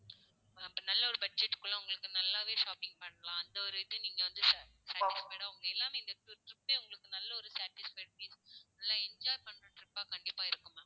அப்போ நல்ல ஒரு budget க்குள்ள உங்களுக்கு நல்லாவே shopping பண்ணலாம். அந்த ஒரு இது நீங்க வந்து satisfied டா உங்க எல்லாமே இந்த trip பே உங்களுக்கு நல்ல ஒரு satisfaction நல்லா enjoy பண்ற trip ஆ கண்டிப்பா இருக்கும் ma'am